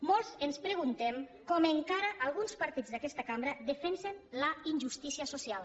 molts ens preguntem com encara alguns partits d’aquesta cambra defensen la injustícia social